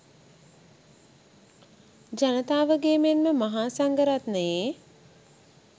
ජනතාවගේ මෙන්ම මහා සංඝරත්නයේ